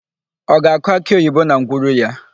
Ọ ga-akụ akịoyibo na ngwuru ya?